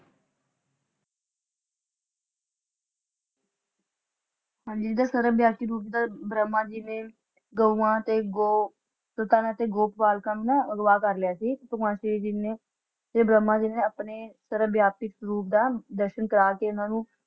ਹਾਂਜੀ ਜਿਦਾ ਸਰਵਵਿਆਪੀ ਰੂਪ ਦਾ ਬ੍ਰਹਮਾ ਜੀ ਨੇ ਗੌਵਾ ਤੇ ਗੋ ਗੋ ਪਾਲਕਾਂ ਨੂੰ ਨਾ ਅਗ਼ਵਾ ਕਰ ਲਿਆ ਸੀ ਭਗਵਾਨ ਸ਼੍ਰੀ ਜੀ ਨੇ ਤੇ ਬ੍ਰਹਮਾ ਜੀ ਨੇ ਆਪਣੇ ਸਰਵਵਿਆਪੀ ਰੂਪ ਦਾ ਦਰਸ਼ਨ ਕਰਕੇ ਇੰਨਾ ਨੂੰ